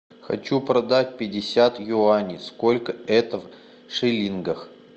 хочу продать пятьдесят юаней сколько это в шиллингах